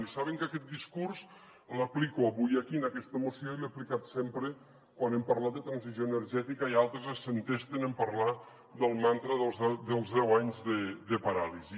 i saben que aquest discurs l’aplico avui aquí en aquesta moció i l’he aplicat sempre quan hem parlat de transició energètica i altres s’entesten en parlar del mantra dels deu anys de paràlisi